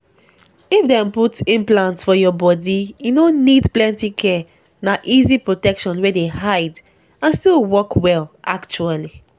if dem put implant for your body e no need plenty care na easy protection wey dey hide and still work well actually.